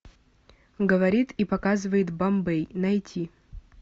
говорит и показывает бомбей найти